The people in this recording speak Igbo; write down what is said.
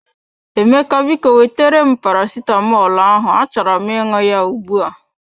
Emeka, biko wetere m paracetamolu ahụ achọrọ m ịṅụ ya ugbu a.